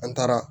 An taara